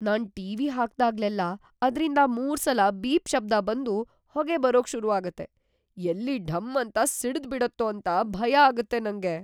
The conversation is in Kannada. ನಾನ್ ಟಿ.ವಿ. ಹಾಕ್ದಾಗ್ಲೆಲ್ಲಾ ಅದ್ರಿಂದ ಮೂರ್ಸಲ ಬೀಪ್ ಶಬ್ದ ಬಂದು ಹೊಗೆ ಬರೋಕ್ ಶುರು ಆಗತ್ತೆ! ಎಲ್ಲಿ ಢಂ ಅಂತ ಸಿಡ್ದ್‌ಬಿಡತ್ತೋ ಅಂತ ಭಯ ಆಗತ್ತೆ ನಂಗೆ.